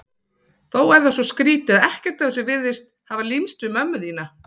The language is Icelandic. Þó er það svo skrýtið að ekkert af þessu virðist hafa límst við mömmu þína.